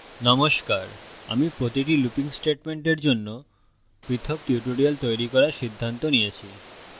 নমস্কার আমি প্রতিটি looping স্টেটমেন্টের জন্য পৃথক tutorials তৈরি করার সিদ্ধান্ত নিয়েছি